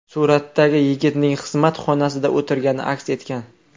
Suratda yigitning xizmat xonasida o‘tirgani aks etgan.